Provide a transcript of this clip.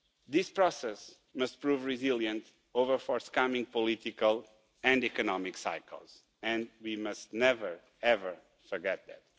This process must prove resilient over forthcoming political and economic cycles, and we must never forget that.